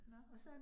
Nåh